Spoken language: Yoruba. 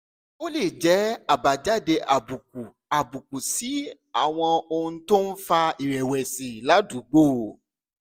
ó lè jẹ́ àbájáde àbùkù àbùkù sí àwọn ohun tó ń fa ìrẹ̀wẹ̀sì ládùúgbò